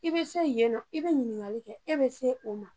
I be se yen na e be ɲiningali kɛ e be se o ma